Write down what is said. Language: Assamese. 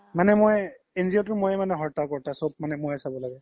মানে মই NGO তোৰ মইয়ে হাৰ্তা কাৰ্তা চ্'ব মানে মই চাব লাগে